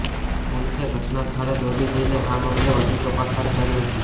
પોલીસે ઘટના સ્થળે દોડી જઇને આ મામલે વધુ તપાસ હાથ ધરી હતી